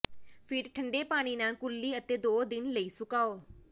ਫਿਰ ਠੰਡੇ ਪਾਣੀ ਨਾਲ ਕੁਰਲੀ ਅਤੇ ਦੋ ਦਿਨ ਲਈ ਸੁਕਾਓ